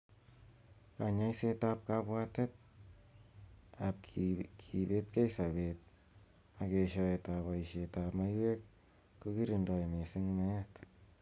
Kanyoiset ab kabwatet ab kibetekei sabet ak eshoet ab boishet ab maiywek koikirondoi missing meet.